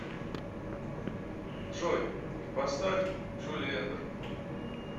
джой поставь джулиэндер